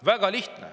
Väga lihtne.